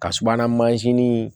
Ka subahana mansin